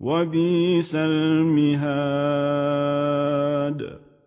وَبِئْسَ الْمِهَادُ